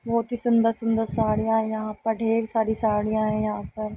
बहोत ही सुन्दर-सुन्दर सडियां यहाँ पर ढेर सारी साड़ियाँ हैं यहाँ पर --